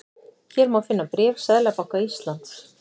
Hér má finna bréf Seðlabanka Íslands